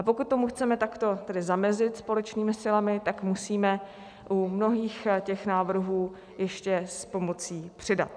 A pokud tomu chceme takto tedy zamezit společnými silami, tak musíme u mnohých těch návrhů ještě s pomocí přidat.